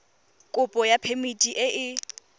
kopo ya phemiti e e